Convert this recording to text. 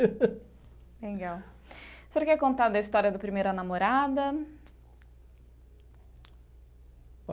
Legal, o senhor quer contar da história da primeira namorada?